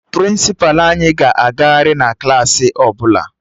Prịnsịpa anyị ga-agagharị na Klassị ọbụla